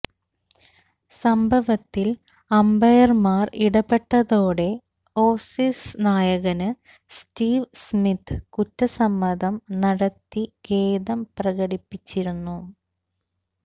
സംഭവത്തില് അംപയര്മാര് ഇടപെട്ടതോടെ ഓസീസ് നായകന് സ്റ്റീവ് സ്മിത്ത് കുറ്റസമ്മതം നടത്തി ഖേദം പ്രകടിപ്പിച്ചിരുന്നു